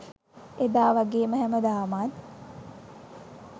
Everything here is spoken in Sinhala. එදා වගේම හැමදාමත්